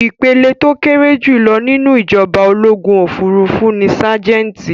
Ìpele tó kéré jùlọ nínú ìjọba ológun òfurufú ní ságẹ́ńtì.